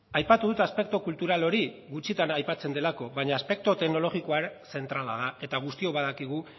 aipatu dut aspektu kultural hori gutxitan aipatzen delako baina aspektu teknologikoa zentrala da eta guztiok badakigu